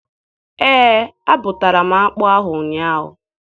Ee, abụtara m akpụ ahụ ụnyaahụ.